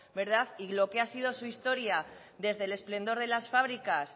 y lo que ha sido su historia desde el esplendor de las fábricas